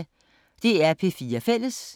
DR P4 Fælles